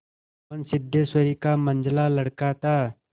मोहन सिद्धेश्वरी का मंझला लड़का था